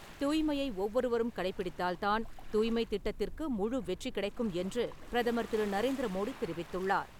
தூய்மையை ஒவ்வொருவரும் கடைபிடித்தால் தான், தூய்மை திட்டத்திற்கு முழு வெற்றி கிடைக்கும் என்று பிரதமர் திரு. நரேந்திர மோடி தெரிவித்துள்ளார்.